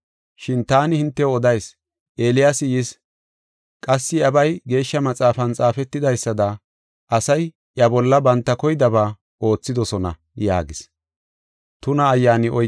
Shin taani hintew odayis; Eeliyaasi yis; qassi iyabay Geeshsha Maxaafan xaafetidaysada, asay iya bolla banta koydaba oothidosona” yaagis.